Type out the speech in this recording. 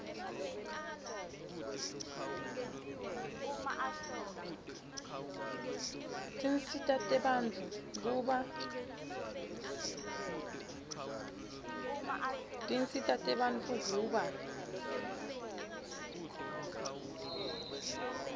tinsita tebantfu kuba